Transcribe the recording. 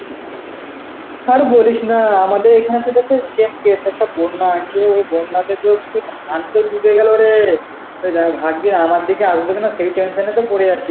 আর বলিস না আমাদের এখানে সাথে সে~ same case, একটা বন্যা আছে ও বন্যাতে তো কিছু ধান ক্ষেত ডুবে গেল রে, এই দেখ ভাবছি আমার দিকে আসবে কিনা সেই tension এ তো পরে আছি